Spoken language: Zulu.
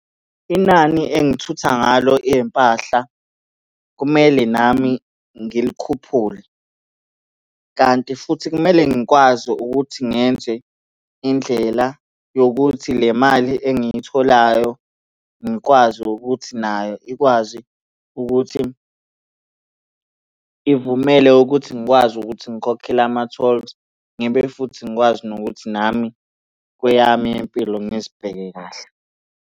Inani engithutha ngalo iy'mpahla kumele nami ngilikhuphule, kanti futhi kumele ngikwazi ukuthi ngenze indlela yokuthi le mali engiyitholayo ngikwazi ukuthi nayo ikwazi ukuthi ivumele ukuthi ngikwazi ukuthi ngikhokhele ama-tolls, ngibe futhi ngikwazi nokuthi nami kweyami yempilo ngizibheke kahle.